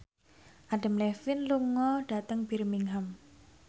Adam Levine lunga dhateng Birmingham